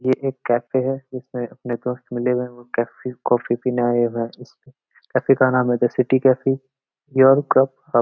ये एक कैफ़े है इसमें अपने कॉफ़ी मिलेगा और कॉफ़ी पिने आया हुआ है कैफ़े का नाम है city cafe your cup hub.